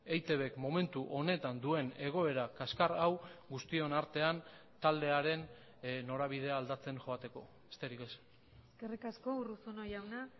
eitbk momentu honetan duen egoera kaxkar hau guztion artean taldearen norabidea aldatzen joateko besterik ez eskerrik asko urruzuno jauna